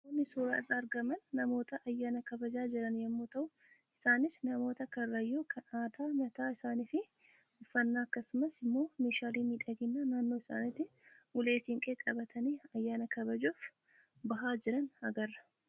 Namoonni suuraa irraa argaman namoota ayyaana kabajaa jiran yommuu ta'u isaanis namoota karrayyuu kan aadaa mataa isaanii fi uffannaa akkasumas immoo meeshaalee miidhaginaa naannoo isaaniitiin ulee siinqee qabatanii ayyaana kabajuuf bahaa jiran agarra.